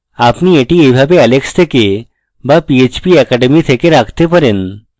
আপনি এটি এইভাবে alex থেকে বা phpacademy থেকে রাখতে পারেন